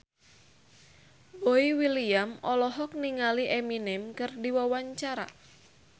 Boy William olohok ningali Eminem keur diwawancara